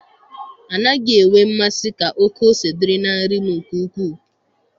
Anaghị enwe masị ka oke ose dịrị na nri m nke ukwuu.